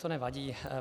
To nevadí.